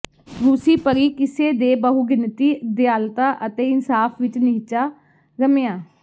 ਰੂਸੀ ਪਰੀ ਕਿੱਸੇ ਦੇ ਬਹੁਗਿਣਤੀ ਦਿਆਲਤਾ ਅਤੇ ਇਨਸਾਫ਼ ਵਿਚ ਨਿਹਚਾ ਰਮਿਆ